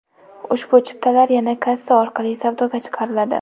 Ushbu chiptalar yana kassa orqali savdoga chiqariladi.